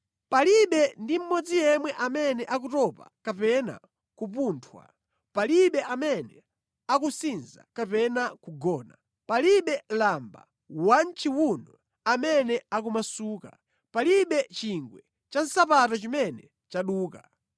Palibe ndi mmodzi yemwe amene akutopa kapena kupunthwa, palibe amene akusinza kapena kugona; palibe lamba wa mʼchiwuno amene akumasuka, palibe chingwe cha nsapato chimene chaduka.